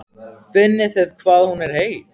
Finnið þið hvað hún er heit?